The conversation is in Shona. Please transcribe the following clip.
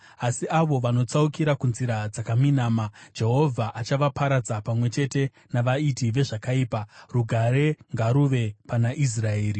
Asi avo vanotsaukira kunzira dzakaminama, Jehovha achavaparadza pamwe chete navaiti vezvakaipa. Rugare ngaruve pana Israeri.